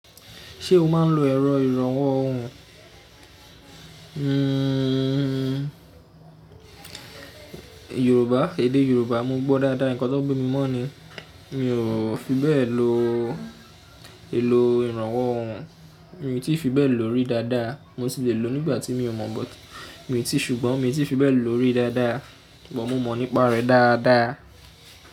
Ṣé o máa ń lo ẹ̀rọ ìrànwọ́ ohùn? Hmmm Yorùbá, èdè Yorùbá mo gbọ́ dáadáa, ǹkan tó bi mi mọ́ ni. Mi ò fi bẹ́ẹ̀ lo elò ìrànwọ́ ohùn. Mi ò tí fi bẹ́ẹ̀ lòó rí dáadáa. Mo tì le lò ó nígbà tí mi ò mọ̀ but. Mi ò tí, ṣùgbọ́n mi ò tí fi bẹ́ẹ̀ lòó rí dáadáa. Ṣùgbọ́n mo mọ̀ nípa rẹ̀ dáadáa.